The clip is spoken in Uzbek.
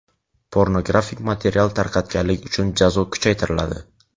Pornografik material tarqatganlik uchun jazo kuchaytiriladi.